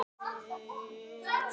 Hauður þetta nefna má.